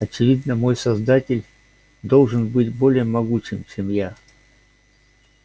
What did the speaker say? очевидно мой создатель должен быть более могучим чем я